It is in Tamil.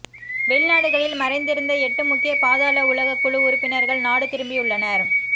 வெளிநாடுகளில் மறைந்திருந்த எட்டு முக்கிய பாதாள உலகக் குழு உறுப்பினர்கள் நாடு திரும்பியுள்ளனர்